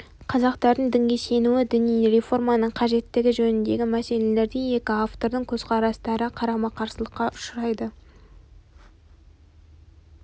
қазақтардың дінге сенуі діни реформаның қажеттігі жөніндегі мәселелерде екі автордың көзқарастары қарама-қарсылыққа ұшырайды